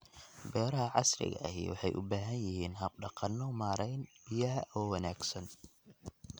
Beeraha casriga ahi waxay u baahan yihiin hab-dhaqanno maarayn biyaha oo wanaagsan.